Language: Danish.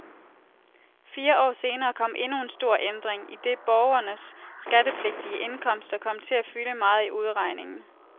Fire år senere kom endnu en stor ændring, idet borgernes skattepligtige indkomster kom til at fylde meget i udregningen.